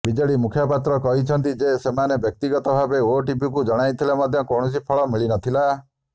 BJD ମୁଖପାତ୍ର କହିଛନ୍ତି ଯେ ସେମାନେ ବ୍ୟକ୍ତିଗତଭାବେ ଓଟିଭିକୁ ଜଣାଇଥିଲେ ମଧ୍ୟ କୌଣସି ଫଳ ମିଳି ନଥିଲା